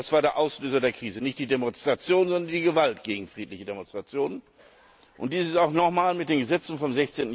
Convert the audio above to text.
Das war der Auslöser der Krise, nicht die Demonstrationen, sondern die Gewalt gegen friedliche Demonstrationen. Dies ist auch nochmal mit den Gesetzen vom